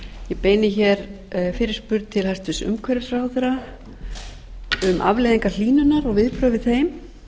ég beini hér fyrirspurn til hæstvirts umhverfisráðherra um afleiðingar hlýnunar og viðbrögð við þeim